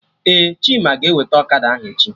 Ee, Chima ga-eweta Okada ahụ echi